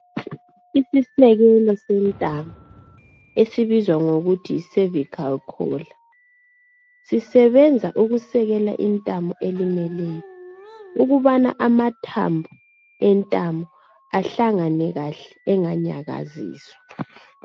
isisekelo sentamo esibizwa ngokuthi yi cervical collar sisebenza ukusekela intamo elimeleyo ukubana amathambo entamo ahlangane kahle enganyakaziswa